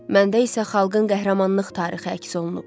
Məndə isə xalqın qəhrəmanlıq tarixi əks olunub.